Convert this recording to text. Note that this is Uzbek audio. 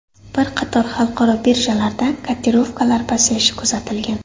Bir qator xalqaro birjalarda kotirovkalar pasayishi kuzatilgan.